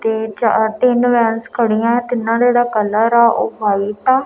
ਤੇ ਚਾਰ ਤਿੰਨ ਵੈਨਸ ਖੜੀਆਂ ਆ। ਤਿੰਨਾਂ ਦਾ ਜਿਹੜਾ ਕਲਰ ਆ ਉਹ ਵਾਈਟ ਆ।